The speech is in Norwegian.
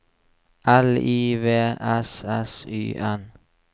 L I V S S Y N